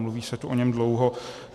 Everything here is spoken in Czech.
Mluví se tu o něm dlouho.